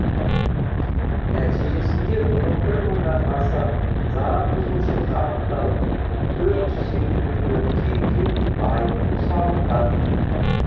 нәтижесінде он бір мыңнан аса заңбұзушылық анықталып төрт жүз екі миллион теңге айыппұл салынған